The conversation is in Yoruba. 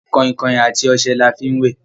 kainkain àti ọṣẹ l'afi wẹ